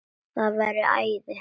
Það væri æði